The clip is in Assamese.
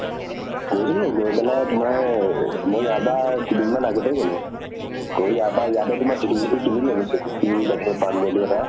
গৈছিলো । গৈ পেলাই তোমাৰ দুদিন মান আগতে গʼলো । গৈ ইয়াৰ পৰা, ইয়াতে তোমাৰ ধুতি চুতি কিনি লʼলো সিদিনাখন । কিনি তাতে এটা